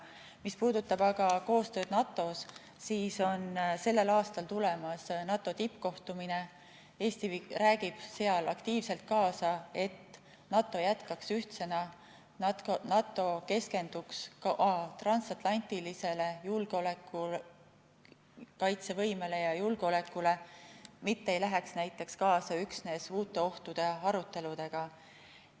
Mis puudutab aga koostööd NATO-s, siis sellel aastal on tulemas NATO tippkohtumine, kus Eesti räägib aktiivselt kaasa, et NATO jätkaks ühtsena ning NATO keskenduks ka transatlantilisele kaitsevõimele ja julgeolekule, mitte ei läheks näiteks kaasa üksnes uute ohtude aruteludega.